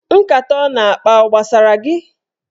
Nkata ọ na-akpa ọ gbasara gị?